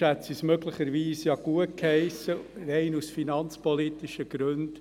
Sonst hätte sie es ja möglicherweise gutgeheissen, aus rein finanzpolitischen Gründen.